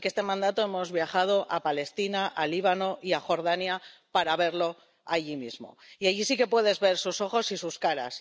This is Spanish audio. Así que en este mandato hemos viajado a Palestina, al Líbano y a Jordania para verlo allí mismo, y allí sí que puedes ver sus ojos y sus caras.